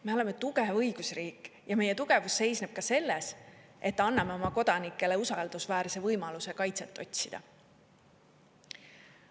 Me oleme tugev õigusriik ja meie tugevus seisneb ka selles, et anname oma kodanikele usaldusväärse võimaluse kaitset otsida.